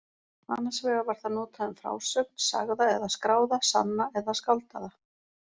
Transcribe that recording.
Annars vegar var það notað um frásögn, sagða eða skráða, sanna eða skáldaða.